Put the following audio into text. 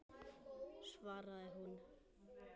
svaraði hún.